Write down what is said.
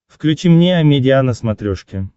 включи мне амедиа на смотрешке